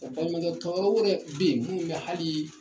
Baɲumankɛ tɔnw yɛrɛ bi minnu bɛ hali